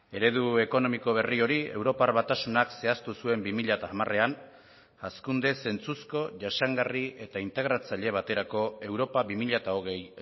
eredu ekonomiko berri hori europar batasunak zehaztu zuen bi mila hamarean hazkunde zentzuzko jasangarri eta integratzaile baterako europa bi mila hogei